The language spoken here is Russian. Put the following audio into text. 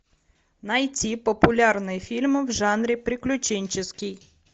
найти популярные фильмы в жанре приключенческий